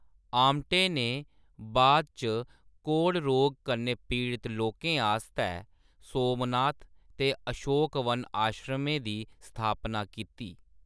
आमटे ने बाद इच कोढ़ रोग कन्नै पीड़त लोकें आस्तै सोमनाथ ते अशोकवन आश्रमें दी स्थापना कीती।